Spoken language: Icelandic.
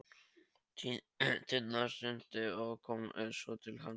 Tinna synti og kom svo til hans.